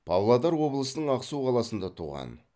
павлодар облысының ақсу қаласында туған